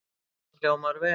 Harpan hljómar vel